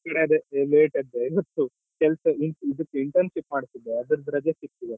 ಸಂಕ್ರಾಂತಿ ನಮ್ಕಡೆ ಅದೇ late ಎದ್ದೆ ಇವತ್ತು ಕೆಲ್ಸ ಇದು internship ಮಾಡ್ತಿದ್ದೆ ಅದ್ರದ್ದು ರಜೆ ಸಿಕ್ತು ಇವತ್ತು.